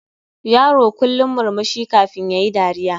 Yaro kullum murmushi kafin yayi dariya.